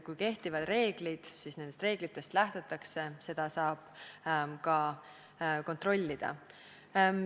Kui kehtivad reeglid, siis nendest reeglitest lähtutakse, seda saab ka kontrollida.